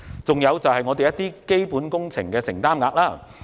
此外，還有基本工程的承擔額。